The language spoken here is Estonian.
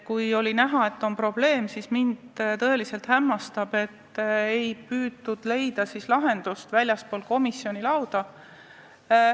Kui oli näha, et on probleem, siis mind tõeliselt hämmastab, et ei püütud leida lahendust väljastpoolt komisjoni kabinetti.